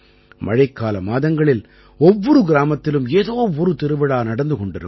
மழைக்கால மாதங்களில் ஒவ்வொரு கிராமத்திலும் ஏதோ ஒரு திருவிழா நடந்து கொண்டிருக்கும்